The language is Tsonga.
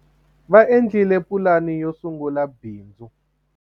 va endlile pulani yo sungula bindz